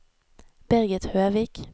Birgit Høvik